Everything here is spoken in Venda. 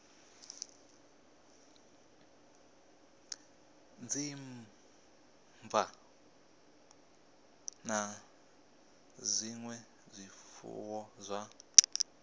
dzimmbwa na zwinwe zwifuwo zwa